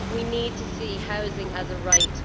We need to see housing as a right.